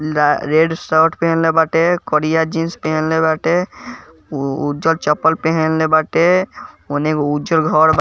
red shirt पहनले बाटे करिया जीन्स पहनले बाटे उज़र चपल पहनले बाटे ओने एगो उज़र घर --